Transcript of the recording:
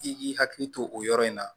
I k'i hakili to o yɔrɔ in na